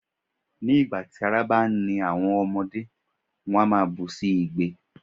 Ní ìgbà tí ara bá ń ni àwọn ọmọdé, wón á bú sí igbe.